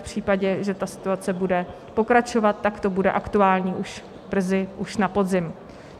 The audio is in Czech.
V případě, že ta situace bude pokračovat, tak to bude aktuální už brzy, už na podzim.